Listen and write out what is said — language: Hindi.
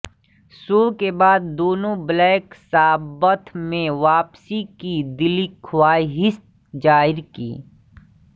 शो के बाद दोनों ब्लैक सब्बाथ में वापसी की दिलीख्वाहिश जाहिर की